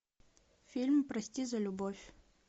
фильм прости за любовь